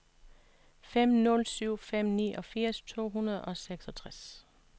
fem nul syv fem niogfirs to hundrede og seksogtres